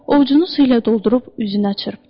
Ovucunu su ilə doldurub üzünə çırptı.